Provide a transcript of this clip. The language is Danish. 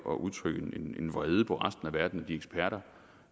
at udtrykke en vrede på resten af verden og de eksperter